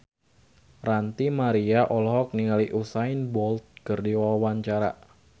Ranty Maria olohok ningali Usain Bolt keur diwawancara